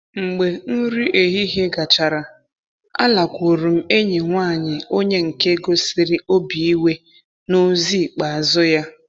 Mgbe nri ehihie gachara, alakwuru m enyi nwaanyị onye nke gosiri obi iwe n'ozi ikpeazụ ya.